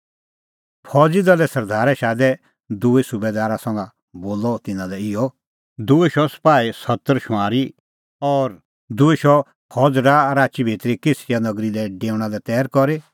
फौज़ी दले सरदारै शादै दूई सुबैदार संघा बोलअ तिन्नां लै इहअ दूई शौ सपाही सत्तर शुंआरी और दूई शौ फौज़ी डाहा राची भितरी कैसरिया नगरी लै डेऊणा लै तैर करी